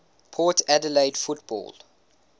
port adelaide football